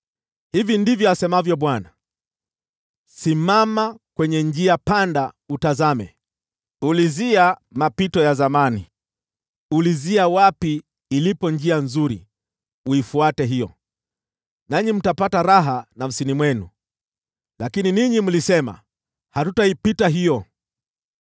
Hivi ndivyo asemavyo Bwana : “Simama kwenye njia panda utazame, ulizia mapito ya zamani, ulizia wapi ilipo njia nzuri, uifuate hiyo, nanyi mtapata raha nafsini mwenu. Lakini ninyi mlisema, ‘Hatutaipita hiyo.’